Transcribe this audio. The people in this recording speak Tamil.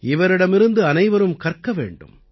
இவரிடமிருந்து அனைவரும் கற்க வேண்டும்